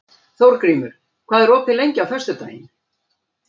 Þórgrímur, hvað er opið lengi á föstudaginn?